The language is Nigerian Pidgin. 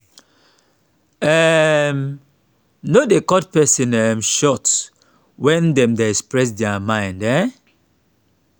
um no dey cut person um short when dem dey express their mind um